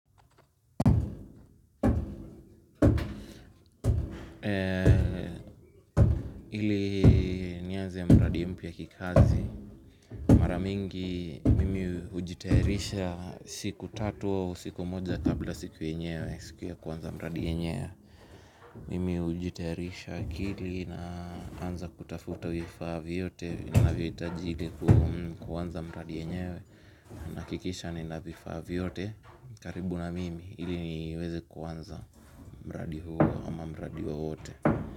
Ili nianze ya mradi mpya kikazi mara mingi mimi hujitayarisha siku tatu au siku moja kabla ya siku yenyewe, siku ya kwanza mradi wenyewe. Mimi hujitayarisha akili na anza kutafuta vifaa vyote ninavyohitaji ili ili kuanza mradi wenyewe ninahakikisha nina vifaa vyote karibu na mimi ili niweze kuanza mradi huo ama mradi wowote.